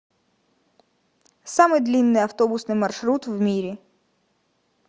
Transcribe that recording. самый длинный автобусный маршрут в мире